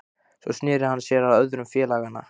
Svo sneri hann sér að öðrum félaganna